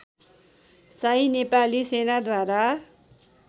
Shahi Nepali सेनाद्वारा